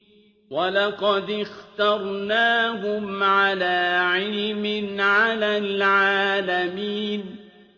وَلَقَدِ اخْتَرْنَاهُمْ عَلَىٰ عِلْمٍ عَلَى الْعَالَمِينَ